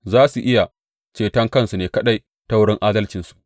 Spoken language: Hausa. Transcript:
Za su iya ceton kansu ne kaɗai ta wurin adalcinsu.